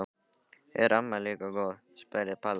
Er amma líka góð? spurði Palla.